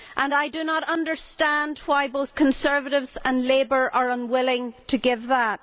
I do not understand why both Conservatives and Labour are unwilling to give that.